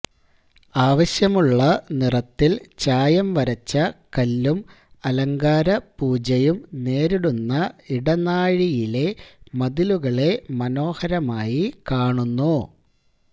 ആവശ്യമുള്ള നിറത്തിൽ ചായം വരച്ച കല്ലും അലങ്കാരപൂജയും നേരിടുന്ന ഇടനാഴിയിലെ മതിലുകളെ മനോഹരമായി കാണുന്നു